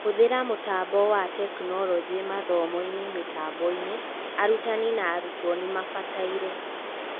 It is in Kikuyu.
Hũthĩra mũtambo wa Tekinoronjĩ mathomo-inĩ mĩtamboinĩ, arutani na arutwo nĩmabataire.